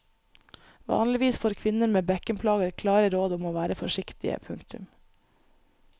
Vanligvis får kvinner med bekkenplager klare råd om å være forsiktige. punktum